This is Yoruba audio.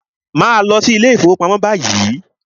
Màá lọ sí ilé ìfọwọ́pamo báyìí!